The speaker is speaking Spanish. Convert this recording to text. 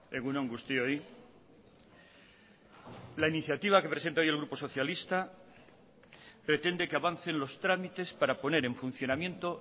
egun on guztioi la iniciativa que presenta hoy el grupo socialista pretende que avancen los tramites para poner en funcionamiento